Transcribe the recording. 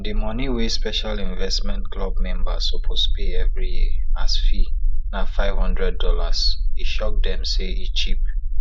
di money wey special investment club members suppose pay every year as fee na five hundred dollars e shock dem say e cheap